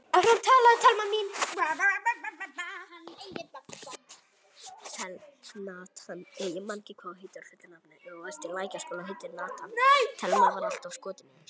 En enginn sér við öllum.